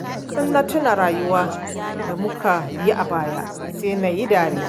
Kullum na tuna rayuwar da muka yi a baya, sai na yi dariya